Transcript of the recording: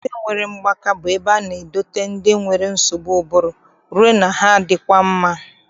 Ụlọ ndị nwere mgbaka bụ ebe a na-edote ndị nwere nsogbu ụbụrụ rue na ha adịkwa mma.